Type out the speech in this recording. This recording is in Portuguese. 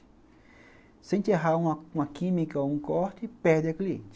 Se a gente errar uma uma química ou um corte, perde a cliente.